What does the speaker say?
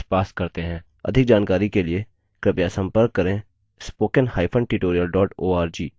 अधिक जानकारी के लिए कृपया हमें contact @spoken hyphen tutorial org पर लिखें